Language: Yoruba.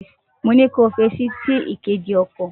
Mo ní kí o f’etí sí ìkéde okò.